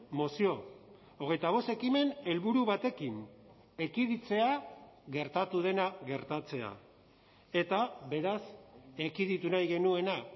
mozio hogeita bost ekimen helburu batekin ekiditea gertatu dena gertatzea eta beraz ekiditu nahi genuena